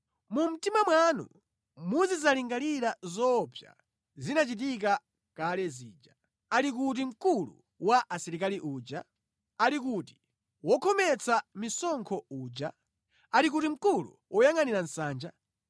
Mu mtima mwanu muzidzalingalira zoopsa zinachitika kale zija: “Ali kuti mkulu wa Asilikali uja? Ali kuti wokhometsa misonkho uja? Ali kuti mkulu woyangʼanira nsanja?”